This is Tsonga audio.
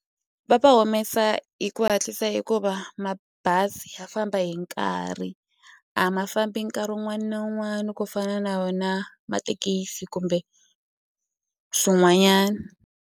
Va va humesa hi ku hatlisa hikuva mabazi ya famba hi nkarhi a ma fambi nkarhi wun'wani na wun'wani ku fana na wona mathekisi kumbe swin'wanyana.